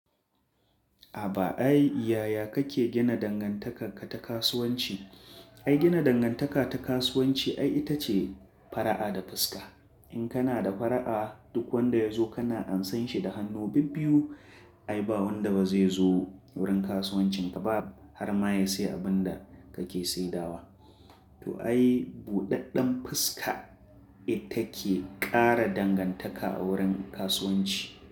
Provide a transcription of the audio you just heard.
A ba ai yaya kake gina dangantaka ta kasuwanci? Ai gina dangantaka ta kasuwanci ai ita ce fara'a da fuska. In kana da fara'a duk wanda ya zo kana amsan shi da hannu bibbiyu. Ai ba wanda ba zai zo wurin kasuwancinka ba har ma ya sayi abin da kake saidawa. To ai buɗaɗɗen fuska ita ke ƙara dangantaka a wurin kasuwanci.